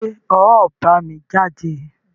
ṣé ọ̀ ọ́ bámi jáde?